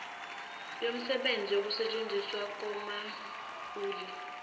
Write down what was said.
womsizi wokusetshenziswa komaulu